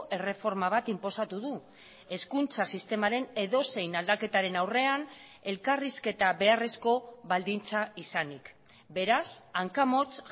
erreforma bat inposatu du hezkuntza sistemaren edozein aldaketaren aurrean elkarrizketa beharrezko baldintza izanik beraz hanka motz